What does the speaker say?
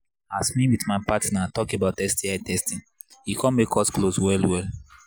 as me with my partner talk about sti testing e come make us close well well